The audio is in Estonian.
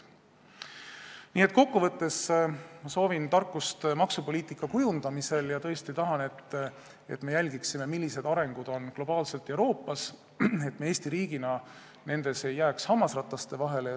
Nii et ma soovin tarkust maksupoliitika kujundamisel ja tõesti tahan, et me jälgiksime, millised on globaalsed arengud ja arengud Euroopas, et Eesti riik ei jääks hammasrataste vahele.